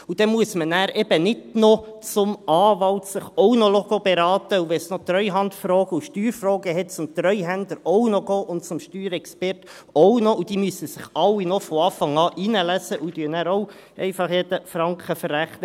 Und dann muss man eben nicht noch zum Anwalt gehen, um sich dort beraten zu lassen, und wenn es noch Treuhandfragen und Steuerfragen gibt, auch noch zum Treuhänder und zum Steuerexperten, die sich alle noch von Anfang an einlesen müssen und dann auch einfach jeden Franken verrechnen.